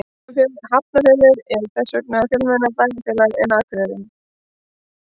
Hafnarfjörður er þess vegna fjölmennara bæjarfélag en Akureyri.